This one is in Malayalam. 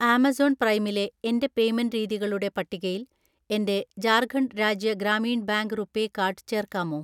ആമസോൺ പ്രൈമിലെ എൻ്റെ പേയ്‌മെന്റ് രീതികളുടെ പട്ടികയിൽ എൻ്റെ Jharkhand Rajya Gramin bank RuPay card ചേർക്കാമോ